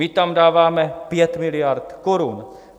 My tam dáváme 5 miliard korun.